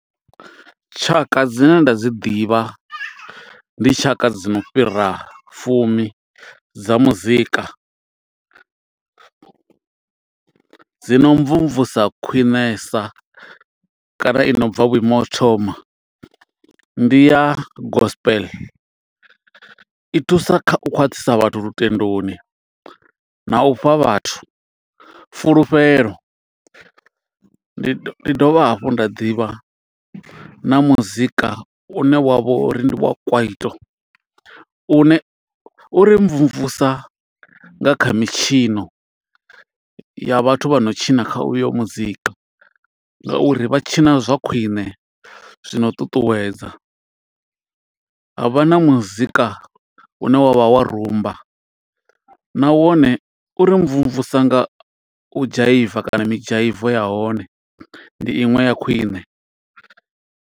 Tshaka dzi ne nda dzi ḓivha, ndi tshaka dzi no fhira fumi dza muzika. Dzi no mvumvusa khwiṋesa kana i nobva vhuimo ho u thoma, ndi ya gospel. I thusa kha u khwaṱhisa vhathu lutendoni, na u fha vhathu fulufhelo. Ndi dovha hafhu nda ḓivha na muzika u ne wa vho uri ndi wa Kwaito. U ne u ri mvumvusa nga kha mitshino ya vhathu vha no tshina kha uyo muzika, nga uri vha tshina zwa khwiṋe zwino u ṱuṱuwedza. Havha na muzika une wavha wa Rumba, na wone uri mvumvusa nga u dzhaiva kana mi dzhaivo ya hone. Ndi iṅwe ya khwiṋe.